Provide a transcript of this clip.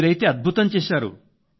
మీరైతే అద్భుతం చేశారు